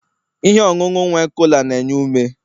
ihe ọṅụṅụ nwe cola na-enye ume